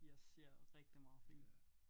Jeg ser rigtig meget film